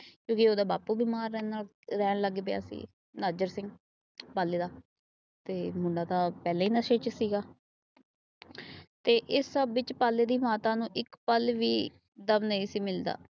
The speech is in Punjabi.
ਦੂਜਾ ਉਹੰਦਾ ਬਾਪੂ ਬਿਮਾਰ ਰਹਿਣ ਲੱਗ ਪਿਆ ਸੀ ਨਜ਼ਰ ਸਿੰਘ ਪਾਲੇ ਦਾ । ਤੇ ਮੁੰਡਾ ਤਾਂ ਪਹਿਲਾ ਈ ਨਸ਼ੇ ਚ ਸੀ ਗਾ। ਤੇ ਇਸ ਸਭ ਵਿੱਚਪਾਲੇ ਦੀ ਮਾਤਾ ਨੂੰ ਇੱਕ ਪਲ ਵੀ ਦਮ ਨਹੀਂ ਸੀ ਮਿਲਦਾ।